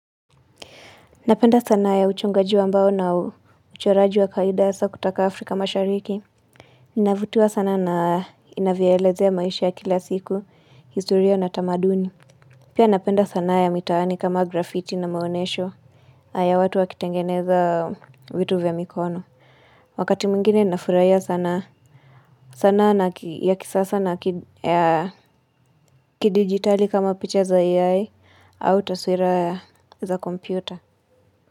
Napenda sana ya uchongaji wa mbao na uchoraji wa kawaida hasa kutoka Afrika mashariki. Ninavutiwa sana na inavyelezea ya maisha ya kila siku, historia na tamaduni. Pia napenda sana ya mitahani kama graffiti na maonesho ya watu wakitengeneza vitu vya mikono. Wakati mwingiei na furahia sanaa sana ya kisasa na kidigitali kama picha za AI au taswira za kompyuta.